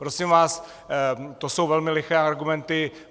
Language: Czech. Prosím vás, to jsou velmi liché argumenty.